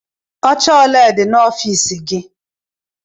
Oche ole dị n'ọfiisi gị?